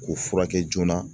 K'u furakɛ joona.